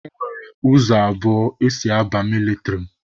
E nwere ụzọ abụọ esi aba mịlịtrị.